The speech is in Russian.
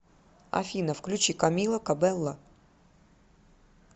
афина включи камила кабэлло